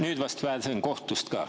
Nüüd vast pääsen kohtust ka.